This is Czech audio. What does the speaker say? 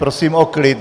Prosím o klid!